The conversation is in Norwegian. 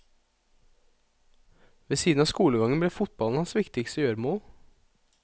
Ved siden av skolegangen ble fotballen hans viktigste gjøremål.